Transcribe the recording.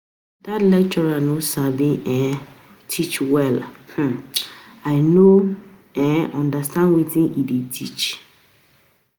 Dat lecturer no sabi um teach well um I no um understand wetin he dey teach